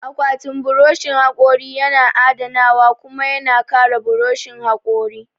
Akwatin buroshin haƙori yana adanawa kuma yana kare buroshin haƙori.